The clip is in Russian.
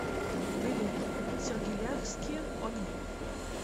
билет сергеляхские огни